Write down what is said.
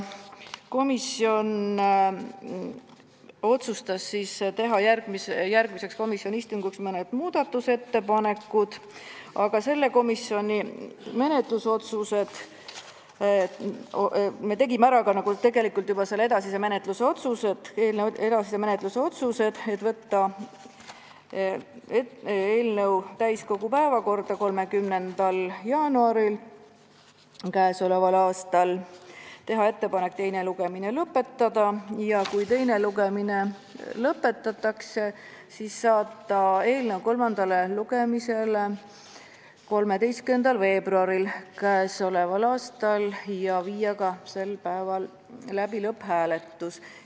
Komisjon otsustas teha järgmiseks istungiks mõned muudatusettepanekud, aga sellel istungil me tegime juba ära ka edasise menetluse otsused: võtta eelnõu täiskogu päevakorda 30. jaanuariks, teha ettepanek teine lugemine lõpetada ja kui teine lugemine lõpetatakse, saata eelnõu kolmandale lugemisele 13. veebruariks ja viia sel päeval läbi ka lõpphääletus.